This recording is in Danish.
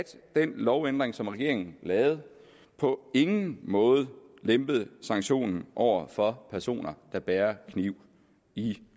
den lovændring som regeringen lavede på ingen måde lempede sanktionen over for personer der bærer kniv i